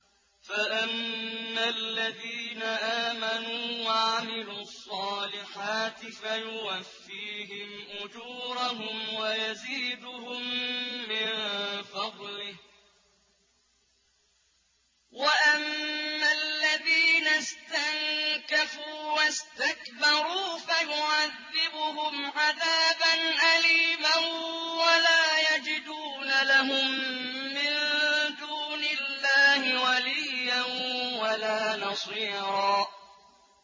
فَأَمَّا الَّذِينَ آمَنُوا وَعَمِلُوا الصَّالِحَاتِ فَيُوَفِّيهِمْ أُجُورَهُمْ وَيَزِيدُهُم مِّن فَضْلِهِ ۖ وَأَمَّا الَّذِينَ اسْتَنكَفُوا وَاسْتَكْبَرُوا فَيُعَذِّبُهُمْ عَذَابًا أَلِيمًا وَلَا يَجِدُونَ لَهُم مِّن دُونِ اللَّهِ وَلِيًّا وَلَا نَصِيرًا